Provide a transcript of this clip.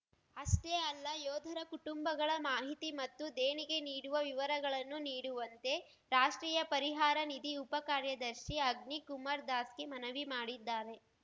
ಅಷ್ಟೇ ಅಲ್ಲ ಯೋಧರ ಕುಟುಂಬಗಳ ಮಾಹಿತಿ ಮತ್ತು ದೇಣಿಗೆ ನೀಡುವ ವಿವರಗಳನ್ನು ನೀಡುವಂತೆ ರಾಷ್ಟ್ರೀಯ ಪರಿಹಾರ ನಿಧಿ ಉಪ ಕಾರ್ಯದರ್ಶಿ ಅಗ್ನಿ ಕುಮಾರ್ ದಾಸ್‌ಗೆ ಮನವಿ ಮಾಡಿದ್ದಾರೆ